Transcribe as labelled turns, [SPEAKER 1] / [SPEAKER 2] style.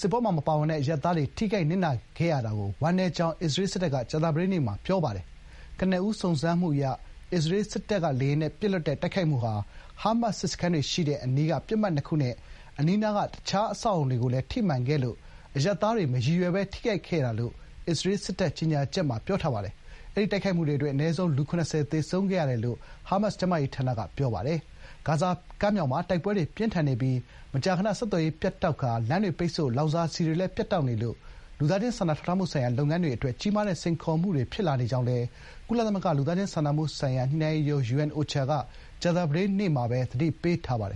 [SPEAKER 1] စစ်ပွဲမှာ ပါဝင်ပတ်သက်မှုမရှိတဲ့ အရပ်သားတွေ ထိခိုက်နစ်နာခဲ့ရတာကို ဝမ်းနည်းကြောင်း အစ္စရေးစစ်တပ်က ကြာသပတေးနေ့မှာ ပြောပါတယ်။ ကနဦးစုံစမ်းမှုအရ အစ္စရေးစစ်လေယာဉ်တွေက “ဟားမတ်စ် စစ်စခန်းတွေရှိတဲ့အနီးက ပစ်မှတ်နှစ်ခု” နဲ့ အနီးနားက အခြားအဆောက်အအုံတွေကိုလည်း ထိမှန်ခဲ့လို့ “အရပ်သားတွေ မရည်ရွယ်ဘဲ ထိခိုက်ခဲ့တာ” လို့ အစ္စရေးစစ်တပ်ရဲ့ကြေညာချက်မှာ ပြောပါတယ်။ အဲဒီတိုက်ခိုက်မှုအတွင်း အနည်းဆုံး လူ ၇၀ သေဆုံးခဲ့တယ်လို့ ဟားမတ်စ် ကျန်းမာရေးဝန်ကြီးဌာနက ပြောပါတယ်။ တခါ ဂါဇာတောင်ပိုင်း Khan Younis ဘက်မှာလည်း တိုက်ပွဲတွေ ပြင်းထန်နေပါတယ်။ ဂါဇာကမ်းမြောင်မှာ တိုက်ပွဲတွေပြင်းထန်နေပြီး မကြာခဏ ဆက်သွယ်ရေး ပြတ်တောက်ကာ လမ်းတွေပိတ်ဆို့၊ လောင်စာဆီတွေလည်း ပြတ်တောက်နေလို့ လူသားချင်းစာနာထောက်ထားမှုဆိုင်ရာ လုပ်ငန်းတွေအတွက် ကြီးမားတဲ့စိန်ခေါ်မှုတွေဖြစ်လာနေကြောင်းလည်း ကုလသမဂ္ဂလူသားချင်းစာနာမှုဆိုင်ရာ ညှိနှိုင်းရေးရုံး (UNOCHA) က ကြာသပတေးနေ့မှာပဲ သတိပေးထားပါတယ်